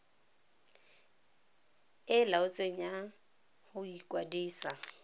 e laotsweng ya go ikwadisa